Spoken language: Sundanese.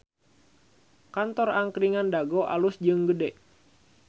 Kantor Angkringan Dago alus jeung gede